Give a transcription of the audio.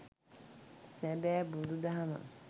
සැබෑ බුදු දහම